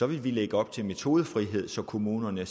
vi lægge op til metodefrihed så kommunerne